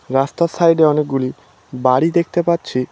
রাস্তার সাইড -এ অনেকগুলি বাড়ি দেখতে পাচ্ছি।